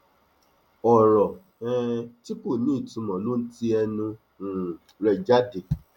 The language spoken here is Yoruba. ọrọ um tí kò ní ìtumọ ló ń ti ẹnu um rẹ jáde